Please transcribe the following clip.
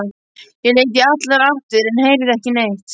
Ég leit í allar áttir en heyrði ekki neitt.